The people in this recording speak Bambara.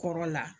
Kɔrɔ la